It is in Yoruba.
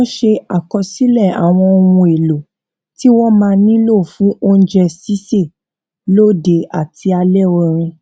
wón ṣe àkọsílè àwọn ohun èlò tí wón máa nílò fún oúnjẹ sísè lóde àti alẹ orin